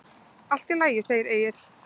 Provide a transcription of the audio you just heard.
Allt í lagi, segir Egill.